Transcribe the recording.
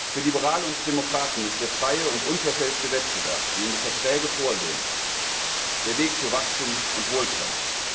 Für Liberale und Demokraten ist der freie und unverfälschte Wettbewerb, wie ihn die Verträge vorsehen, der Weg zu Wachstum und Wohlstand.